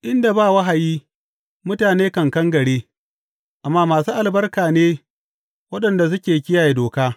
Inda ba wahayi, mutane kan kangare; amma masu albarka ne waɗanda suke kiyaye doka.